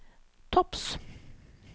topps